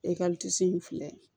E in filɛ